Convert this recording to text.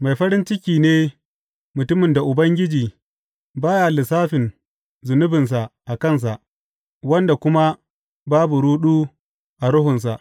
Mai farin ciki ne mutumin da Ubangiji ba ya lissafin zunubinsa a kansa wanda kuma babu ruɗu a ruhunsa.